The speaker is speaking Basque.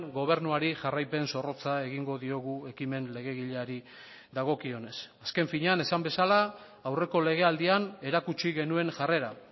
gobernuari jarraipen zorrotza egingo diogu ekimen legegileari dagokionez azken finean esan bezala aurreko legealdian erakutsi genuen jarrera